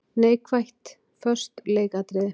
Neikvætt:- Föst leikatriði.